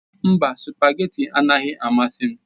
Mba, spagéti adịghị amasị ya.